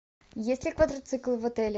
есть ли квадроцикл в отеле